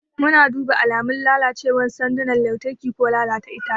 Muna duba alamun lalacewar sandunan lantarki ko lalata itace.